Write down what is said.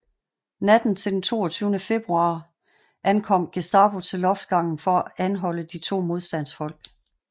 Natten til den 22 februar ankom Gestapo til loftsgangen for at anholde de to modstandsfolk